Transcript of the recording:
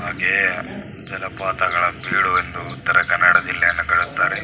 ಹಾಗೆ ಜಲಪಾತ ಗಳ ಬೀಡು ಎಂದು ಉತ್ತರ ಕನ್ನಡ ಜಿಲ್ಲೆಯನ್ನು ಹೇಳುತ್ತಾರೆ.